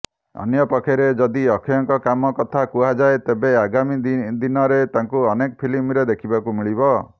ଅନ୍ୟପକ୍ଷରେ ଯଦି ଅକ୍ଷୟଙ୍କ କାମ କଥା କୁହାଯାଏ ତେବେ ଆଗାମୀ ଦିନରେ ତାଙ୍କୁ ଅନେକ ଫିଲ୍ମରେ ଦେଖିବାକୁ ମିଳିବ